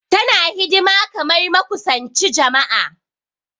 Tana hidima kamar makusanchi jama'a.